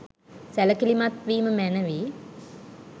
සැලකිලිමත් වීම මැනවි.